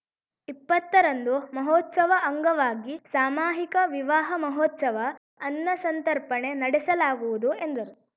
ಇಪ್ಪತ್ತ ರಂದು ಮಹೋತ್ಸವ ಅಂಗವಾಗಿ ಸಾಮಾಹಿಕ ವಿವಾಹ ಮಹೋತ್ಸವ ಅನ್ನ ಸಂತರ್ಪಣೆ ನಡೆಸಲಾಗುವುದು ಎಂದರು